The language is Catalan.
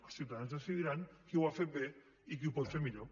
els ciutadans decidiran qui ho ha fet bé i qui ho pot fer millor